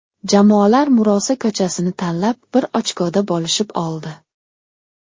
Jamoalar murosa ko‘chasini tanlab, bir ochkoda bo‘lishib oldi.